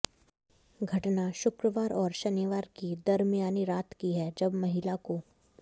घटना शुक्रवार और शनिवार की दरमियानी रात की है जब महिला को